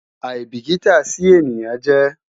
aìbìkítà sí ènìyàn jẹ́